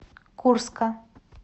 курска